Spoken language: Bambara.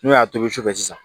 N'o y'a tobi sufɛ sisan